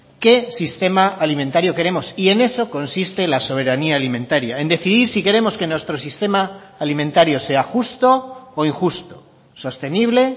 qué sistema alimentario queremos y en eso consiste la soberanía alimentaria en decidir si queremos que nuestro sistema alimentario sea justo o injusto sostenible